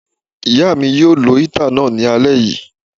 Ìyá mi yóò lo íítà náà ní alé yìí